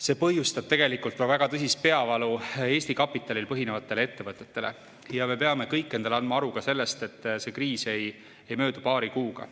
See põhjustab tegelikult väga tõsist peavalu Eesti kapitalil põhinevatele ettevõtetele ja me peame kõik andma endale aru ka sellest, et see kriis ei möödu paari kuuga.